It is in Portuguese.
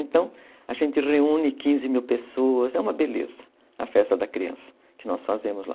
Então, a gente reúne quinze mil pessoas, é uma beleza a festa da criança que nós fazemos lá.